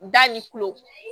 Da ni kulo